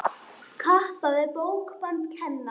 Kappa við bókband kenna.